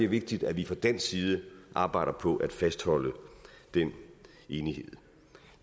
vigtigt at vi fra dansk side arbejder på at fastholde den enighed